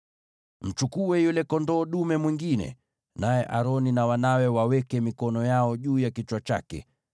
“Mchukue yule kondoo dume mwingine, naye Aroni na wanawe waweke mikono yao juu ya kichwa chake.